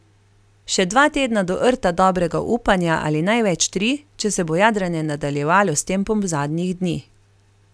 Še dva tedna do Rta dobrega upanja ali največ tri, če se bo jadranje nadaljevalo s tempom zadnjih dni.